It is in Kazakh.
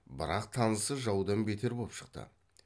бірақ танысы жаудан бетер боп шықты